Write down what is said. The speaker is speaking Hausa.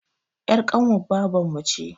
Er ƙanuwar baban mu ce